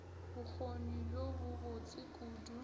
bokgoni bjo bo botse kudu